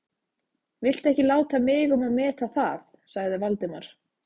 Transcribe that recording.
Viltu ekki láta mig um að meta það sagði Valdimar.